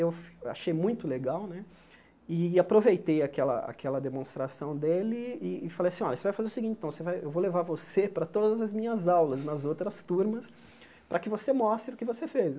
Eu achei muito legal né e aproveitei aquela aquela demonstração dele e e falei assim, olha, você vai fazer o seguinte então, você vai eu vou levar você para todas as minhas aulas nas outras turmas para que você mostre o que você fez né.